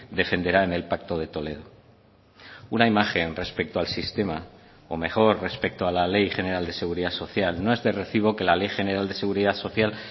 defenderá en el pacto de toledo una imagen respecto al sistema o mejor respecto a la ley general de seguridad social no es de recibo que la ley general de seguridad social